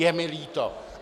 Je mi líto.